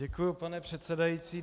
Děkuji, pane předsedající.